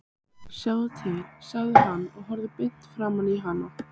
Sjáðu til, sagði hann og horfði beint framan í hana.